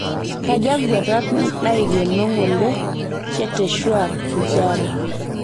kaja nkuetat naikeno ng'ole cheteshwar pujara